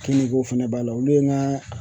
Kiniko fɛnɛ b'a la olu ye n ka